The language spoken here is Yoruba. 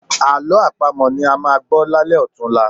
Àlọ́ àpamọ̀ ni a máa gbọ́ lálẹ́ ọ̀tunla